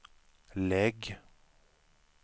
lägg